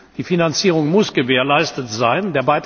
Die Finanzierung muss gewährleistet sein.